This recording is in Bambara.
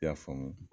I y'a faamu